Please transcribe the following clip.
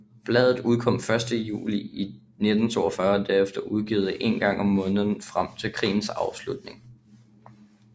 Bladet udkom første gang i juli 1942 og blev derefter udgivet en gang om måneden frem til krigens afslutning